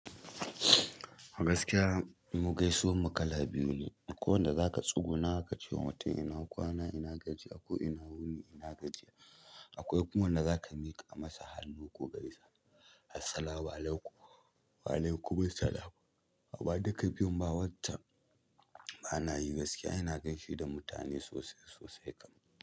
Gaskiya mu gaisuwar mu kala biyu ne. Akwai wanda za ka tsuguna ka ce wa mutum ina kwana? Ina gajiya? Ko ina wuni ina gajiya? Akwai kuma wanda za ka miƙa masa hannu ko gaisa. Assalamualaikum, waalaikumussalam. Ba duka biyun ba, watan ba na yi gaskiya ina gaishe da mutane sosai-sosai kam.